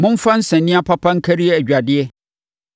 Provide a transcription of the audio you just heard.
Momfa nsania papa nkari adwadeɛ